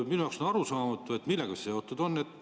Minu jaoks on arusaamatu, millega see seotud on.